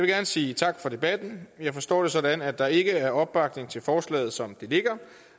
gerne sige tak for debatten jeg forstår det sådan at der ikke er opbakning til forslaget som det ligger